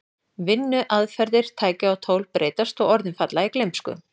Vinnuaðferðir, tæki og tól breytast og orðin falla í gleymsku.